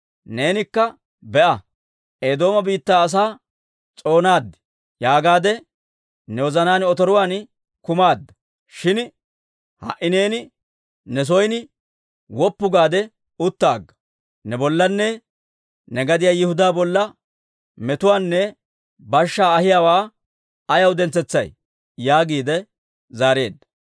Neenikka, ‹Be'a, Eedooma biittaa asaa s'oonaad› yaagaadde ne wozanaan otoruwaan kumaadda. Shin ha"i neeni ne son woppu gaade utta agga. Ne bollanne ne gadiyaa Yihudaa bolla metuwaanne bashshaa ahiyaawaa ayaw dentsetsay?» yaagiide zaareedda.